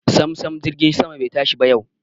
Samsam jirgin sama bai tashi ba yau.